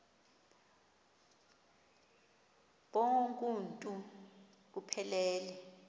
bonk uuntu buphelele